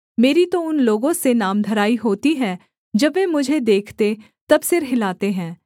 मेरी तो उन लोगों से नामधराई होती है जब वे मुझे देखते तब सिर हिलाते हैं